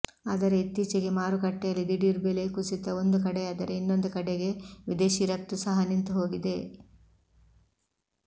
ಆದರೆ ಇತ್ತೀಚೆಗೆ ಮಾರುಕಟ್ಟೆಯಲ್ಲಿ ದಿಢೀರ್ ಬೆಲೆ ಕುಸಿತ ಒಂದು ಕಡೆಯಾದರೆ ಇನ್ನೊಂದು ಕಡೆಗೆ ವಿದೇಶಿ ರಫ್ತು ಸಹ ನಿಂತು ಹೋಗಿದೆ